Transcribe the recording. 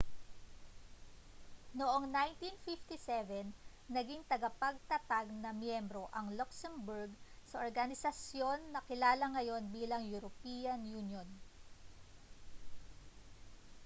noong 1957 naging tagapagtatag na miyembro ang luxembourg sa organisasyon na kilala ngayon bilang european union